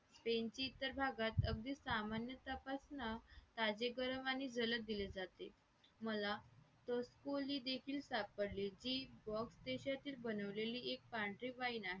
त्यांची इतर भागात अगदी सामान्य तपासणे ताजे गरम आणि जलद दिले जाते मला तो होली देखील सापडले की box देशातील बनवलेली एक पांढरी wine आहे